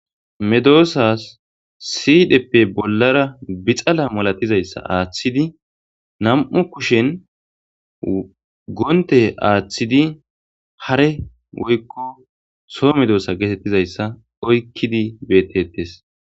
Medossas sidhdhepe bollara biixxala maalatizayssa aththidi nam'u kushshen gontte aththidi haare woykko soho medosa gettetizayssa oyqqidi bettetes.